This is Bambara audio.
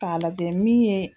K' a lajɛ min ye